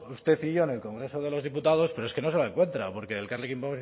usted y yo en el congreso de los diputados pero es que no encuentra porque elkarrekin